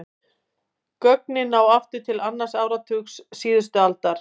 Gögnin ná aftur til annars áratugar síðustu aldar.